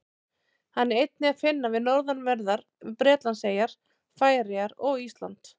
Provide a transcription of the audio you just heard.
Hann er einnig að finna við norðanverðar Bretlandseyjar, Færeyjar og Ísland.